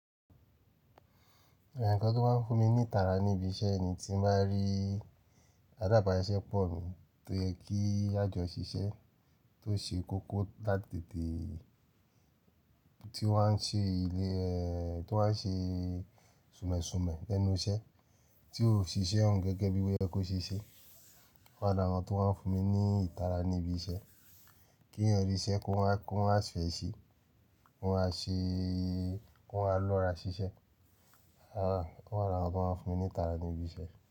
Ǹkan tó máa ń fún mi ní ìtara ní ibi iṣẹ́ ni tí mo bá rí àdàbà iṣẹ́ pọ̀ mi tó yẹ kí a jọ ṣiṣẹ́, tó ṣe kókó látètè, tí ó wà ṣe ilé ẹ, tó wà ṣe súnmẹ̀ súnmẹ̀ lẹ́núṣẹ́, tí òṣìṣẹ́ òún gẹ́gẹ́ bí ó yè kó ṣeṣẹ́. Làra àwọn tó máa ń fún mi ní ìtara ní ibi iṣẹ́, kí èeyàn rí iṣẹ́ kó máa, kó máa si fẹ̀ se, kó máa ṣe, kó máa lọ́ra ṣiṣẹ́. Ara, àrà awọn tó máa ń fún mi ní ìtara ní ibi iṣẹ́.